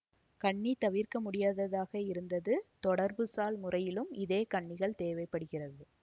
கண்ணி தவிர்க்கமுடியாததாக இருந்தது தொடர்புசால் முறையிலும் இதே கண்ணிகள் தேவை படுகிறது